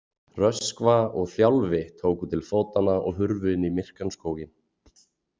Röskva og Þjálfi tóku til fótanna og hurfu inn í myrkan skóginn.